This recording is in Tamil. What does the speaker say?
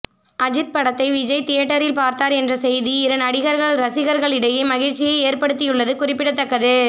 அஜித் படத்தை விஜய் தியேட்டரில் பார்த்தார் என்ற செய்தி இரு நடிகர்கள் ரசிகர்களிடையே மகிழ்ச்சியை ஏற்படுத்தியுள்ளது குறிப்பிடத்தக்கது